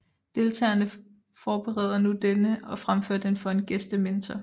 Deltagerne forbereder nu denne og fremfører den for en gæstementor